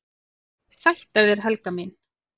"""EN SÆTT AF ÞÉR, HELGA MÍN!"""